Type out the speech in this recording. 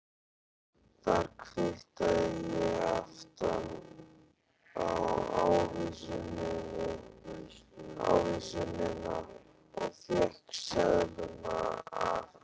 Þar kvittaði ég aftan á ávísunina og fékk seðlana afhenta.